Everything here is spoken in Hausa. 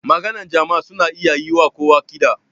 makaɗan jama'a suna iya yi wa kowa kiɗa